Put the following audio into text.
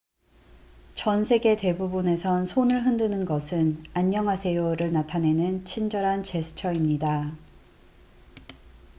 "전 세계 대부분에선 손을 흔드는 것은 "안녕하세요""를 나타내는 친절한 제스처입니다.